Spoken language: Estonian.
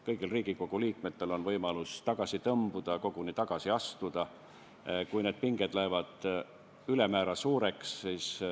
Kõigil Riigikogu liikmetel on võimalus tagasi tõmbuda, koguni tagasi astuda, kui pinged lähevad ülemäära suureks.